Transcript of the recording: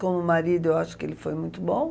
Como marido, eu acho que ele foi muito bom.